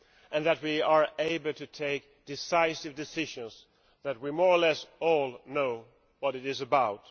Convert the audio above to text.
and that we are able to take decisive decisions that we more or less all know what it is about.